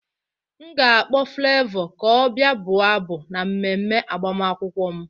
M ga-akpọ Flevọ ka ọ bịa bụọ abụ na mmemme agbamakwụkwọ m